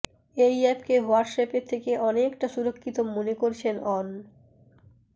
এই অ্যাপকে হোয়াটসঅ্যাপের থেকে অনেকটা সুরক্ষিত মনে করছেন অন